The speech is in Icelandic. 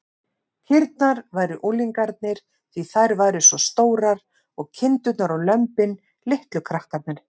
Kýrnar væru unglingarnir, því þær væru svo stórar, og kindurnar og lömbin litlu krakkarnir.